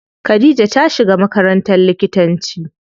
Khadija ta shiga makarantar likitanci.